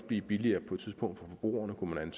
blive billigere for forbrugerne kunne man